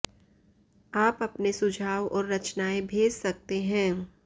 आप अपने सुझाव और रचनाएं भेज सकते हैं